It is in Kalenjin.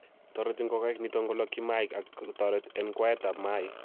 toreti ngokaik niton kolokyi mayaik ak kotoret en kwaetab mayaik.